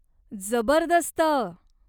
जबरदस्त!